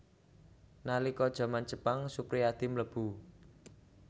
Nalika jaman Jepang Suprijadi mlebu